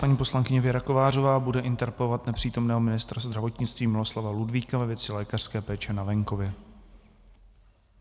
Paní poslankyně Věra Kovářová bude interpelovat nepřítomného ministra zdravotnictví Miloslava Ludvíka ve věci lékařské péče na venkově.